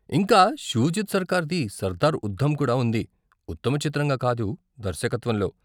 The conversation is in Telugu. ఇంకా షూజిత్ సర్కార్ది సర్దార్ ఉద్ధం కూడా ఉంది, ఉత్తమ చిత్రంగా కాదు, దర్శకత్వంలో.